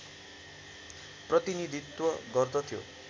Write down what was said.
प्रतिनीधित्व गर्दथ्यो